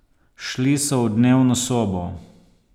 Šli so v dnevno sobo.